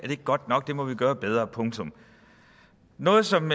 ikke godt nok det må vi gøre bedre punktum noget som